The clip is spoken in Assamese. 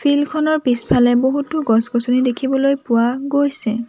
ফিল্ড খনৰ পিছফালে বহুতো গছ গছনি দেখিবলৈ পোৱা গৈছে।